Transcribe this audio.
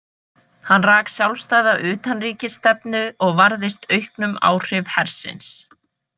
Hann rak sjálfstæða utanríkisstefnu og varðist auknum áhrif hersins.